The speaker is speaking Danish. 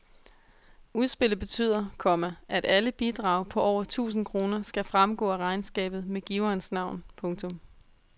Udspillet betyder, komma at alle bidrag på over tusind kroner skal fremgå af regnskabet med giverens navn. punktum